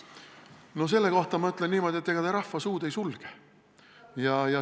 No selle kohta ma ütlen niimoodi, et ega rahva suud ei sulge.